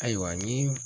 Ayiwa ni